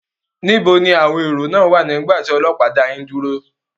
Níbo àwọn èró wà nígbà tí ọlọ́pàá?